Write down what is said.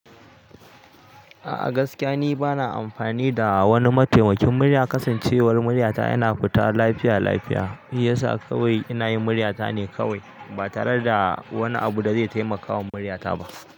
A'a gaskiya ni bana amfani da wani mataimakin murya. Kasancewar muryata yana fita lafiya lafiya, shi yasa kawai ina yin muryata ne kawai ba tare da wani abu da zai taimakawa muryata ba.